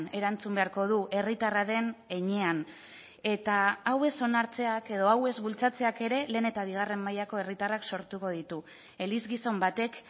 erantzun beharko du herritarra den heinean eta hau ez onartzeak edo hau ez bultzatzeak ere lehen eta bigarren mailako herritarrak sortuko ditu eliz gizon batek